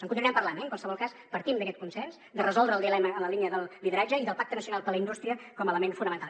en continuarem parlant eh en qualsevol cas partim d’aquest consens de resoldre el dilema en la línia del lideratge i del pacte nacional per la indústria com a element fonamental